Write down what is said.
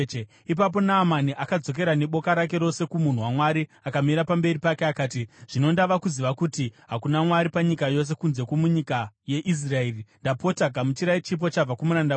Ipapo Naamani akadzokera neboka rake rose kumunhu waMwari. Akamira pamberi pake akati, “Zvino ndava kuziva kuti hakuna Mwari panyika yose kunze kwomunyika yeIsraeri. Ndapota, gamuchirai chipo chabva kumuranda wenyu.”